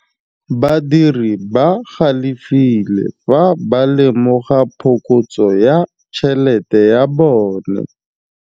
Badiri ba galefile fa ba lemoga phokotsô ya tšhelête ya bone.